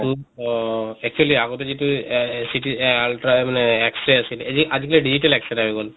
অহ actually আগতে যিটো এহ ct এহ ultra এহ x-ray আছিলে এযি আজি কালি digital x-ray হৈ গʼল।